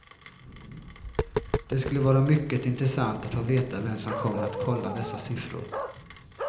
Det skulle vara mycket intressant att få veta vem som kommer att kolla dessa siffror.